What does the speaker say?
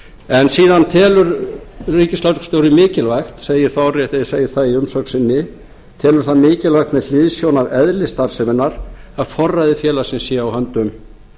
en síðan telur ríkisskattstjóri mikilvægt segir þar orðrétt að segi það í umsögn sinni telur það mikilvægt með hliðsjón af eðli starfseminnar að forræði félagsins sé á höndum